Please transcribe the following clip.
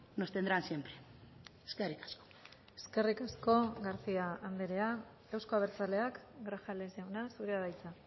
nos tendrán siempre eskerrik asko eskerrik asko garcía andrea euzko abertzaleak grajales jauna zurea da hitza